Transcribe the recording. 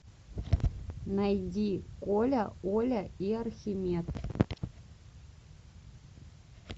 найди коля оля и архимед